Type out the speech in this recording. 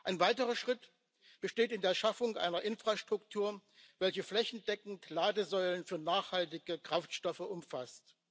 Ein weiterer Schritt besteht in der Schaffung einer Infrastruktur, welche flächendeckend Ladesäulen für nachhaltige Kraftstoffe umfasst.